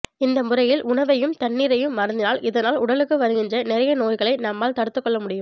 இந்த முறையில் உணவையும் தண்ணீரையும் அருந்தினால் இதனால் உடலுக்கு வருகின்ற நிறைய நோய்களை நம்மால் தடுத்துக்கொள்ள முடியும்